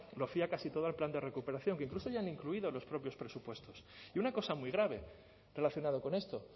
lo fía casi todo al plan de recuperación que incluso ya han incluido en los propios presupuestos y una cosa muy grave relacionado con esto